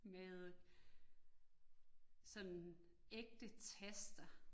Med sådan ægte taster